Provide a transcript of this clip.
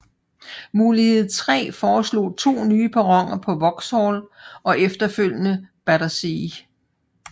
Mulighed 3 foreslog to nye perroner på Vauxhall og efterfølgende Battersea